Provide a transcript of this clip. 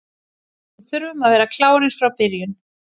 Við þurfum að vera klárir frá byrjun.